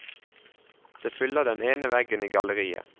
Det fyller den ene veggen i galleriet.